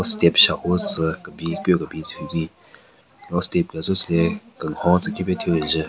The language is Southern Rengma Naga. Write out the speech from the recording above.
Step shahvu tsü kebin ku kebin tsü hyu bin lo step gu tsü atselo tsu le kenhon khipe thyu kenjun.